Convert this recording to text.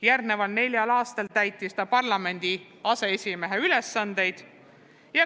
Järgnenud neljal aastal täitis ta parlamendi aseesimehe ülesandeid.